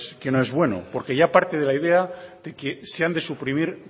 que no es bueno porque ya parte de la idea de que se han de suprimir